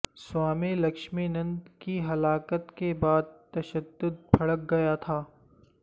Swami Lakshmanananda کی ہلاکت کے بعد تشدد بھڑک گیا تھا